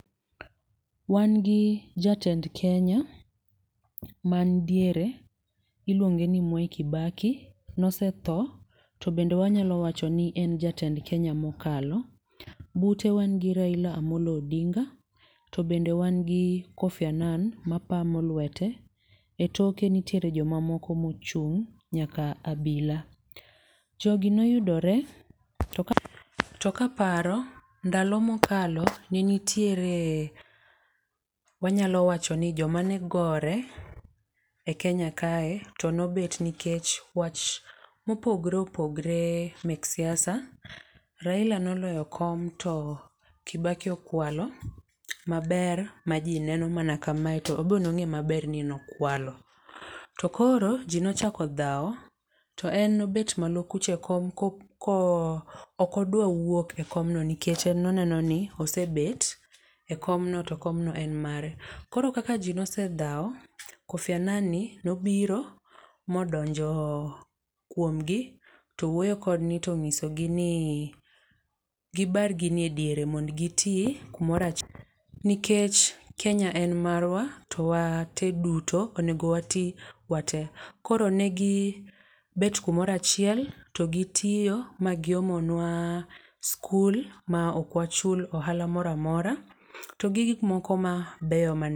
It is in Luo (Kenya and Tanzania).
Wan gi jatend Kenya man diere iluonge ni Mwai Kibaki. Nosetho to bende wanyalo wacho ni en jatend Kenya mokalo. Bute wan gi Raila Amolo Odinga, to bende wan gi Kofi Anan mapamo lwete. E tok nitiere jomamoko mochung'. Nyaka abila. Jo gi noyudore, to ka, to kaparo ndalo mokalo ne nitiere wanyalo wacho ni joma ne gore e Kenya kae, to nobet nikech wach mopogore opogore mek siasa. Raila noloyo kom to Kibaki okwalo, maber ma ji neno mana kamae to enbe ne ong'eyo mana maber ni no kwalo. To koro, ji nochako dhao, to en obet malo kucha e kom kok ko ok odwa wuok ekomno nikech noneno ni osebet ekomno to komno en mare. Koro kaka ji nosedhao, Kofi Anan ni nobiro modonjo kuomgi to wuoyo kodgi, to onyisogi ni gibar gini e diere, mondo gitii kumoro achiel. Nikech Kenya en marwa to wate duto onego wati wate. Koro negi bet kumora achiel to gitiyo ma giomonwa skul ma okwachul ohala moramora, to gi gik moko mabeyo.